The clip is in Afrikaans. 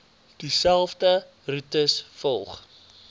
dieselfde roetes volg